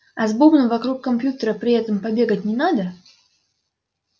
а с бубном вокруг компьютера при этом побегать не надо